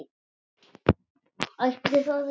Ætli það ekki.